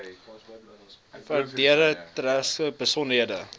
verdere tersaaklike besonderhede